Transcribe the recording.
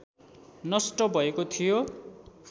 नष्ट भएको थियो